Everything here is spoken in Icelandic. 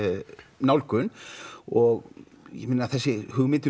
nálgun og ég þessi hugmynd um